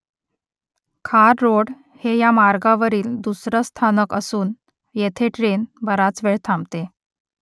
खार रोड हे या मार्गावरील दुसरं स्थानक असून येथे ट्रेन बराच वेळ थांबते